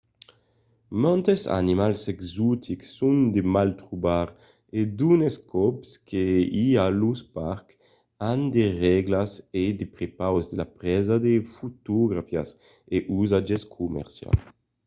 mantes animals exotics son de mal trobar e d'unes còps que i a los parcs an de règlas a prepaus de la presa de fotografias a usatge comercial